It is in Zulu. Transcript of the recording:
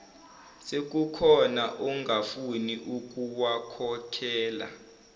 sekukhona ongafuni ukuwakhokhela